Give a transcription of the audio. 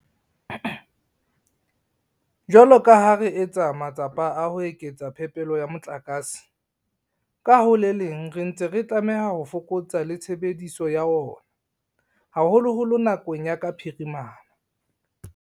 Jwalo ka ha re etsa matsapa a ho eketsa phepelo ya motlakase, ka ho le leng re ntse re tlameha ho fokotsa le tshebediso ya ona, haholoholo nakong ya ka phirimana.